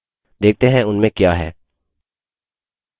देखते हैं उनमें क्या है